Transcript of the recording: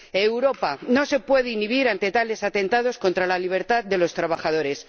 Europa no se puede inhibir ante tales atentados contra la libertad de los trabajadores.